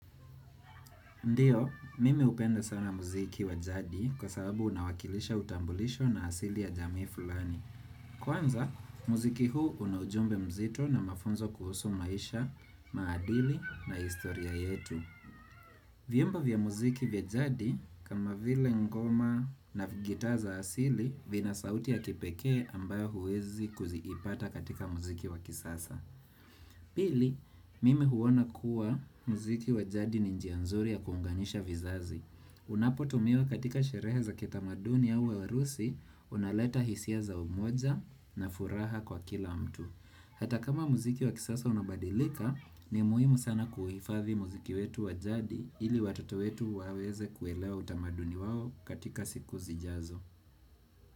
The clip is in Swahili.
Ndiyo, mimi hupenda sana muziki wa jadi kwa sababu unawakilisha utambulisho na asili ya jamii fulani. Kwanza, muziki huu una ujumbe mzito na mafunzo kuhusu maisha, maadili na historia yetu. Vyumba vya muziki vya jadi kama vile ngoma na gitaa za asili vina sauti ya kipekee ambayo huwezi kuziipata katika muziki wa kisasa. Pili, mimi huona kuwa muziki wa jadi ni njia nzuri ya kuunganisha vizazi. Unapotumiwa katika sherehe za kitamaduni au wa harusi, unaleta hisia za umoja na furaha kwa kila mtu. Hata kama muziki wa kisasa unabadilika, ni muhimu sana kuhifathi muziki wetu wa jadi ili watoto wetu waweze kuelewa utamaduni wao katika siku zijazo.